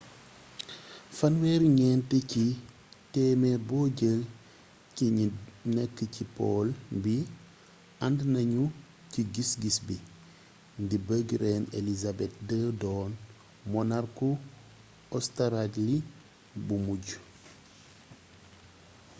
34 ci téemeer bo jël ci ñi nekk ci pool bi ànd nañu ci gis-gis bii di bëgg reine elizabeth ii doon monarku ostaraali bu mujj